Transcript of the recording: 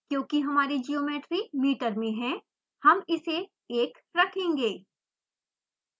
क्योंकि हमारी geometry metre में है हम इसे 1 रखेंगे